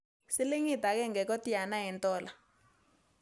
Silingit agenge kotiana eng' tola